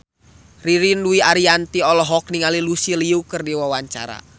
Ririn Dwi Ariyanti olohok ningali Lucy Liu keur diwawancara